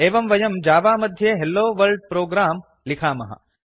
एवं वयं जावा मध्ये हेलोवर्ल्ड प्रोग्राम् लिखामः